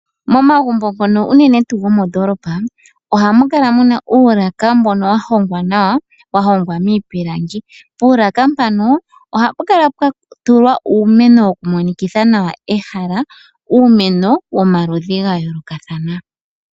Momagumbo ngono unene tuu gomoondoolopa ohamu kala muna uulaka mbono wa hongwa nawa, wa hongwa miipilangi. Puulaka mpano ohapu kala pwa tulwa uumeno woku monikitha nawa ehala. Uumeno womaludhi ga yoolokathana.